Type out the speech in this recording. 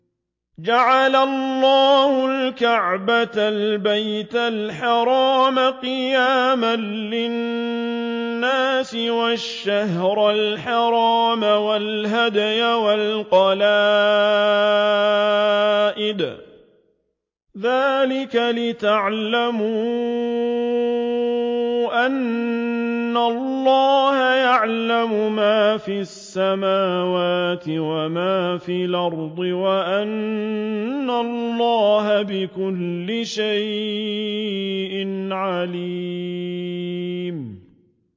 ۞ جَعَلَ اللَّهُ الْكَعْبَةَ الْبَيْتَ الْحَرَامَ قِيَامًا لِّلنَّاسِ وَالشَّهْرَ الْحَرَامَ وَالْهَدْيَ وَالْقَلَائِدَ ۚ ذَٰلِكَ لِتَعْلَمُوا أَنَّ اللَّهَ يَعْلَمُ مَا فِي السَّمَاوَاتِ وَمَا فِي الْأَرْضِ وَأَنَّ اللَّهَ بِكُلِّ شَيْءٍ عَلِيمٌ